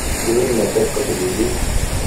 Iun meset kotililit.